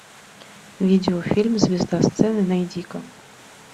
видеофильм звезда сцены найди ка